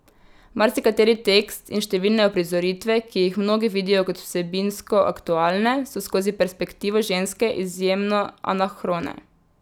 Marsikateri tekst in številne uprizoritve, ki jih mnogi vidijo kot vsebinsko aktualne, so skozi perspektivo ženske izjemno anahrone.